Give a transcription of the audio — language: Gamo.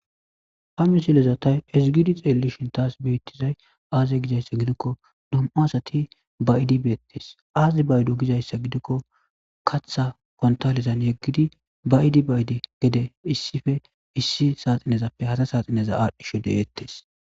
Ha mi silezatay ezigidi xeelishin taas beettizay aaze gizayssa gidikko dum7a asati bayiidibeettes aazi baydo gizayssa gidikko katha kontalizan yeggidi bayidi bayide gede issife issi saaxinezappe hata saaxineza aadhdhisho de7eettes.